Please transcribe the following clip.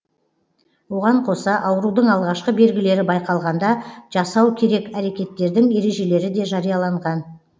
оған қоса аурудың алғашқы белгілері байқалғанда жасау керек әрекеттердің ережелері де жарияланған